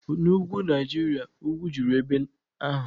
Na Ugwu Naijiria, ugwu juru ebe ahụ.